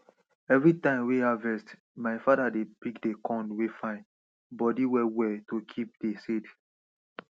every time wey harvest my father dey pik dey corn wey fine body well well to kip dey seed